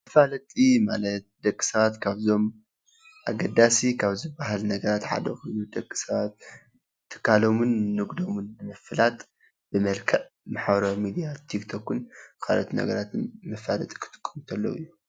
መፋለጢ ማለት ደቂሰባት ካብዞም ኣገዳሲ ካብ ዝበሃል ነገራት ሓደ ኮይኑ ንደቂሰባት ትካሎምን ንግዶምን ንምፍላጥ ብመልክዕ ማሕበራዊ ሚድያ ቲክቶክን ካልኦት ነገራትን መፍለጢ ክጥቀሙ ከለዉ እዪ ።